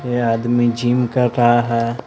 ये आदमी जिम कर रहा है।